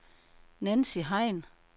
Nancy Hein